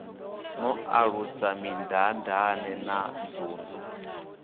no ṱalusa mindaandaane na nzunzu